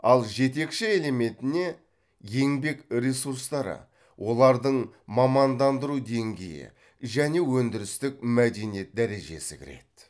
ал жетекші элементіне еңбек ресурстары олардың мамандандыру деңгейі және өндірістік мәдениет дәрежесі кіреді